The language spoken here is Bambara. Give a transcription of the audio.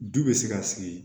Du bɛ se ka sigi